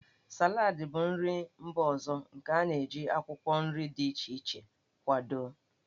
Salad bụ nri mba ọzọ nke a na-eji akwụkwọ nri dị iche iche akwado.